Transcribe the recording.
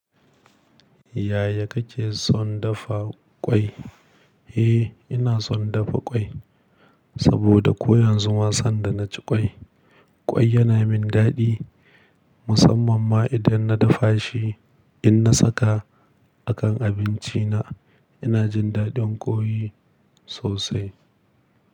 Yaya kake son dafa ƙwai? Eh, ina son dafa ƙwai. Saboda ko yanzu ma sanda na ci ƙwai, ƙwai yana min daɗi. Musamman ma idan na dafa shi, in na saka a kan abinci na, ina jin daɗin ƙoi sosai.